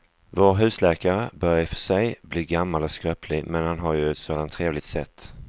Vår husläkare börjar i och för sig bli gammal och skröplig, men han har ju ett sådant trevligt sätt!